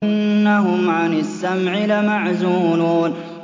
إِنَّهُمْ عَنِ السَّمْعِ لَمَعْزُولُونَ